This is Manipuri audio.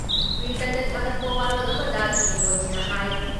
ꯇ꯭ꯋꯤꯇꯔꯗ ꯊꯥꯥꯒꯠꯄ ꯋꯥꯔꯣꯜ ꯑꯃꯗ ꯁ꯭ꯔꯤ ꯃꯣꯗꯤꯅ ꯍꯥꯏ